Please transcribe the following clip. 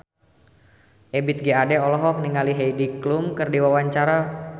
Ebith G. Ade olohok ningali Heidi Klum keur diwawancara